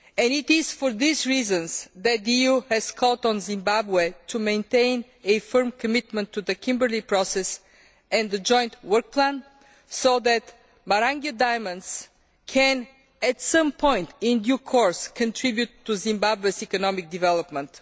It is for these reasons that the EU has called on Zimbabwe to maintain a firm commitment to the Kimberley Process and the joint work plan, so that Marangwe diamonds can, at some point, in due course contribute to Zimbabwe's economic development.